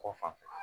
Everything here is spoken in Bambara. Kɔ fan fɛ